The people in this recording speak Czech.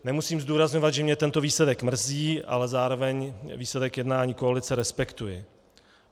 Nemusím zdůrazňovat, že mě tento výsledek mrzí, ale zároveň výsledek jednání koalice respektuji.